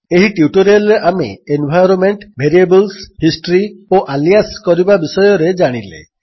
ଏହି ଟ୍ୟୁଟୋରିଆଲ୍ରେ ଆମେ ଏନ୍ଭାଇରୋନ୍ମେଣ୍ଟ ଭେରିଏବଲ୍ସ ହିଷ୍ଟ୍ରୀ ଓ ଆଲିଆସ୍ କରିବା ବିଷୟରେ ଜାଣିଲେ